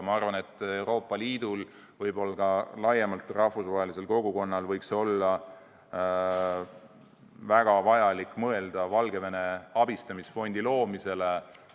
Ma arvan, et Euroopa Liidul, võib-olla ka laiemalt rahvusvahelisel kogukonnal võiks olla väga vajalik mõelda Valgevene abistamise fondi loomisele.